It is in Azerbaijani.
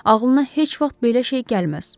Ağlına heç vaxt belə şey gəlməz.